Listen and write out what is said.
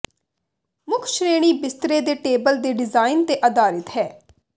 ਮੁੱਖ ਸ਼੍ਰੇਣੀ ਬਿਸਤਰੇ ਦੇ ਟੇਬਲ ਦੇ ਡਿਜ਼ਾਇਨ ਤੇ ਅਧਾਰਿਤ ਹੈ